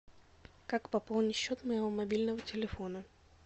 как пополнить счет моего мобильного телефона